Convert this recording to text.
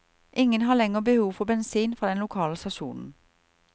Ingen har lenger behov for bensin fra den lokale stasjonen.